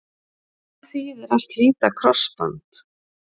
Hvað þýðir að slíta krossband?